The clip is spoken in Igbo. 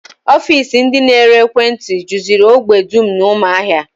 Ofiisi ndị na-ere ekwentị juziri ógbè dum n'ụmụahia